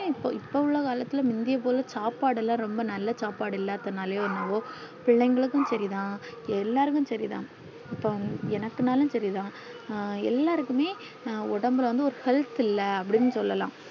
ஹம் இப்போ இப்போ உள்ள காலத்துள்ள முந்தியோ போல சாப்பாடுல்லா ரொம்ப நல்ல சாப்பாடு இல்லாது நாலையோ என்னோவோ பிள்ளைகளுக்கு சரிதான் எல்லாருக்கும் சரிதான் இப்போ எனக்குனாலும் சரிதான் எல்லாருக்குமே ஒடம்புல ஒரு health இல்ல அப்டின்னு சொல்லலாம்